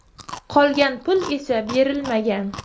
Qolgan pul esa berilmagan.